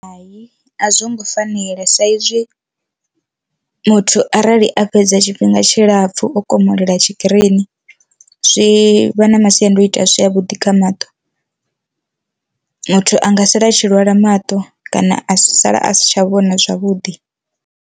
Hai a zwongo fanela saizwi muthu arali a fhedza tshifhinga tshilapfhu o komolela tshikirini zwi vha na masiandoitwa a si a vhuḓi kha maṱo, muthu anga sala a tshi lwala maṱo kana a si sala a si tsha vhona zwavhuḓi.